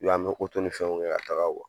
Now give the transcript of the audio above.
an mi fɛnw kɛ ka taga